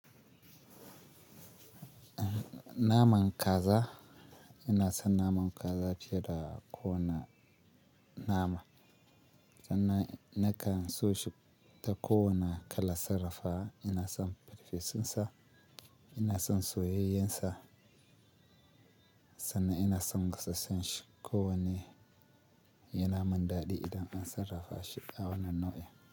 Naman kaza, ina son naman kaza fiye da kowane nama. Sannan nakan so shi ta kowane kala sarrafawa, ina son farfesunsa, ina son soyayyensa. Sannan ina son gasassan shi ko wanne yana mun dadi idan an sarrafashi a wannan nau'in.